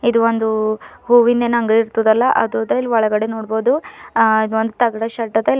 ಇದು ಒಂದು ಹೂವಿಂದ ಏನ್ ಅಂಗ್ಡಿ ಇರ್ತಾದಲ್ಲ ಅದು ಅದ ಇಲ್ ಒಳಗಡೆ ನೋಡ್ಬೋದು ಆ ಒಂದು ತಗಡ ಶೇಡ್ ಅದ.